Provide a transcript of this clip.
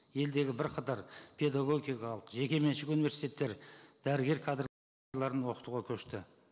елдегі бірқатар педагогикалық жекеменшік университеттер дәрігер кадр оқытуға көшті